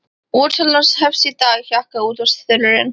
Útsalan hefst í dag, hjakkar útvarpsþulurinn.